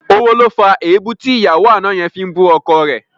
Owó ló fa èébú tí ìyàwó àná yẹn fi ń bú ọkọ rẹ̀